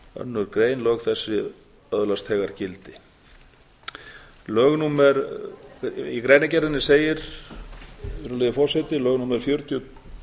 önnur grein lög þessi öðlast þegar gildi í greinargerðinni segir virðulegi forseti lög númer fjörutíu